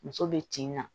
Muso bɛ tin na